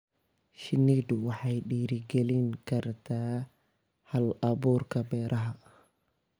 Shinnidu waxay dhiirigelin kartaa hal-abuurka beeraha.